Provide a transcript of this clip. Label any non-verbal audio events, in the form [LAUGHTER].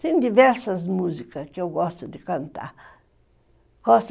Tem diversas músicas que eu gosto de cantar. [UNINTELLIGIBLE]